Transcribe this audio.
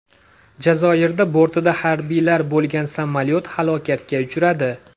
Jazoirda bortida harbiylar bo‘lgan samolyot halokatga uchradi.